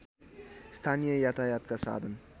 स्थानीय यातायातका साधन